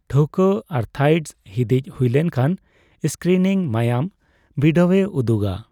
ᱴᱷᱟᱹᱣᱠᱟᱹ ᱟᱨᱛᱷᱟᱭᱤᱴᱰᱥ ᱦᱤᱫᱤᱡ ᱦᱩᱭ ᱞᱮᱱᱠᱷᱟᱱ ᱥᱠᱨᱤᱱᱤᱝ ᱢᱟᱭᱟᱢ ᱵᱤᱰᱟᱹᱣᱮ ᱩᱫᱩᱜᱟ ᱾